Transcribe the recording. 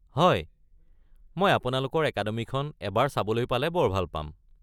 হয়, মই আপোনালোকৰ একাডেমিখন এবাৰ চাবলৈ পালে বৰ ভাল পাম।